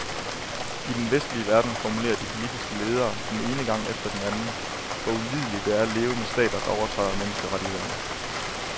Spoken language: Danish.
I den vestlige verden formulerer de politiske ledere den ene gang efter den anden, hvor ulideligt det er at leve med stater der overtræder menneskerettighederne.